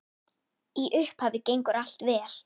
Í upphafi gengur allt vel.